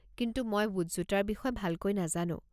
কিন্তু মই বুটজোতাৰ বিষয়ে ভালকৈ নাজানো।